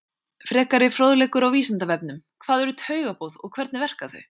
Frekari fróðleikur á Vísindavefnum: Hvað eru taugaboð og hvernig verka þau?